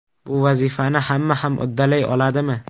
Bu vazifani hamma ham uddalay oladimi?